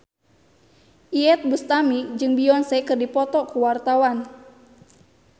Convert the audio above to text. Iyeth Bustami jeung Beyonce keur dipoto ku wartawan